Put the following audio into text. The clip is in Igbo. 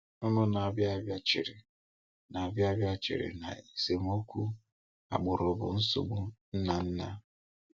Ụmụ́ na-abịàbịa chere na-abịàbịa chere na esemokwu agbụrụ bụ nsogbu nna nna.